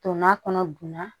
Donna kɔnɔ dunna